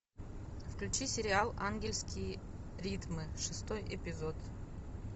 включи сериал ангельские ритмы шестой эпизод